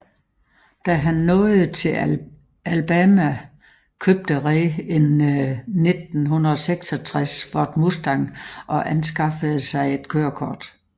Da han nåede til Alabama købte Ray en 1966 Ford Mustang og anskaffede sig et kørekort